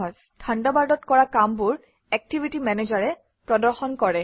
থাণ্ডাৰবাৰ্ডত কৰা কামবোৰ activity Manager এ প্ৰদৰ্শন কৰে